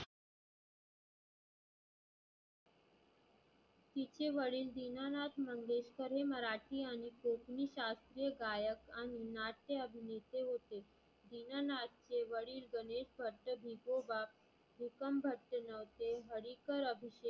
तीचे वडील दिनानाथ मंगेशकर हे मराठी आणि कोकणी शास्त्रीय गायक आणि नाट्य अभिनेते होते. दिनानाथचे वडील गणेशपंत भिकोबा कोकण भंते होते हरिकर अभी